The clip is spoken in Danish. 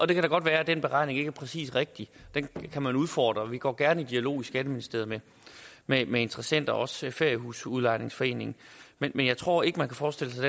det kan da godt være den beregning ikke er præcis og rigtig den kan man udfordre og vi går gerne i dialog i skatteministeriet med med interessenter også feriehusudlejningsforeningen men jeg tror ikke man kan forestille sig